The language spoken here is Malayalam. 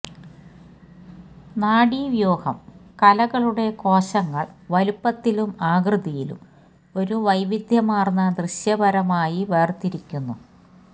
നാഡീവ്യൂഹം കലകളുടെ കോശങ്ങൾ വലുപ്പത്തിലും ആകൃതിയിലും ഒരു വൈവിധ്യമാർന്ന ദൃശ്യപരമായി വേർതിരിക്കുന്നു